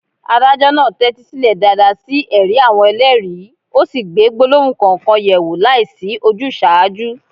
Adájọ́ náà tẹ́tí sílẹ̀ dáadáa sí ẹ̀rí àwọn ẹlẹ́rìí, ó sì gbé gbólóhùn kọ̀ọ̀kan yẹ̀ wò láìsí ojúsàájú.